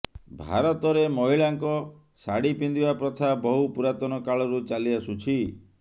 ଭାରତରେ ମହିଳାଙ୍କ ଶାଢ଼ି ପିନ୍ଧିବା ପ୍ରଥା ବହୁ ପୁରାତନ କାଳରୁ ଚାଲି ଆସୁଛି